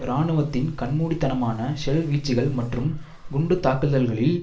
இராணுவத்தின் கண்மூடித்தனமான ஷெல் வீச்சுக்கள் மற்றும் குண்டு தாக்குதல்களில்